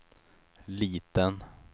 liten